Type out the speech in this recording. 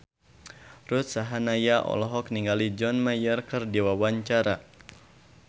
Ruth Sahanaya olohok ningali John Mayer keur diwawancara